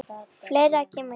Fleira kemur til.